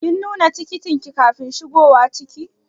Kin nuna tikitin ki kafin shigowa ciki?